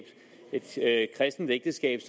et kristent ægteskab